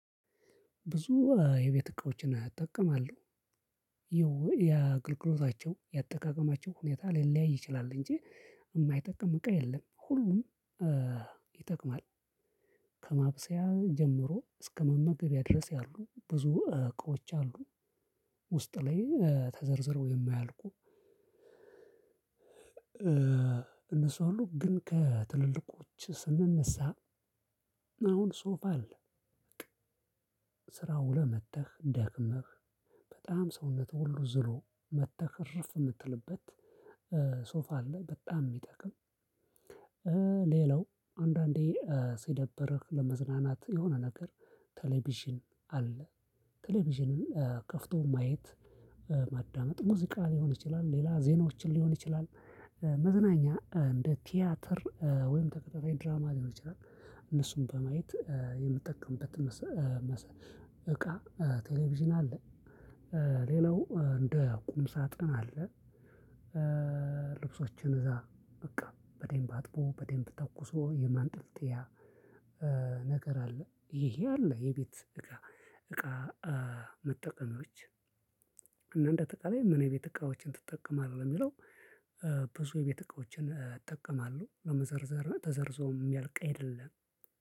ብዙ የቤት እቃዎችን እጠቀማለሁ ይኸው የአገልግሎታቸው የአጠቃቀማቸው ሁኔታ ሊለያይ ይችላል እንጂ የማይጠቅም እቃ የለም ሁሉም ይጠቅማል። ከማብሰያ ጀምሮ እስከመመገቢያ ድረስ ያሉ ብዙ እቅዎች አሉ ውስጥ ላይ ተዘርዝሮ የማያልቁ እነሱ ሁሉ ግን ከትልልቆች ስንነሳ አሁን ሶፋ አለ በቃ ስራው ውለህ መጠህ ደክመህ በጣም ሰውነትህ ሁሉ ዝሎ መተህ እርፍ የምትልበት ሶፋ አለ በጣም የሚጠቅም ሌላው አንዳንዴ ሲደብርህ ለመዝናናት የሆነ ነገር ቴሌቪዥን አለ። ቴሌቪዥንን ከፍቶ ማየት ማዳመጥ ሙዚቃ ሊሆን ይችላል ሌላ ዜናዎችን ሊሆን ይችላል መዝናኛ እንደ ቲያትር ወይም ተከታታይ ድራማ ሊሆን ይችላል እነሱን በማየት የምትጠቀምበት እቃ ቴሌቪዥን አለ። ሌላው እንደ ቁም ሳጥን አለ። እነሱ ሁሉ ግን ከትልልቆች ስንነሳ አሁን ሶፋ አለ በቃ ስራ ውለህ መጥተህ፣ ደክመህ በጣም ሰውነትህ ሁሉ ዝሎ መተህ እርፍ የምትልበት ነገር አለ ይሄ አለ የቤት እቃ እቃ መጠቀሚዎች እና እንደ አጠቃላይ ምን የቤት እቃዎችን ትጠቀማለህ የሚለው ብዙ የቤት እቃዎችን እጠቀማለሁ ለመዘርዘር ተዘርዞ የሚያልቅ አይደለም።